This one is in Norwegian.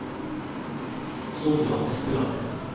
Sonja Espeland